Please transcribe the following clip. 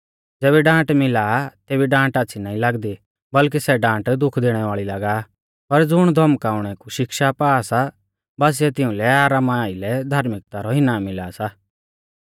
ज़ेबी डांट मिला आ तेबी डांट आच़्छ़ी नाईं लागदी बल्कि सै डांट दुख दैणै वाल़ी लागा आ पर ज़ुण धौमकाउणै कु शिक्षा पा सा बासीऐ तिउंलै आरामा आइलै धार्मिकता रौ इनाम मिला सा